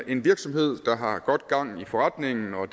en virksomhed der har godt gang i forretningen og